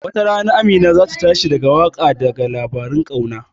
wata rana Amina zata tashi da waka daga labaran ƙauna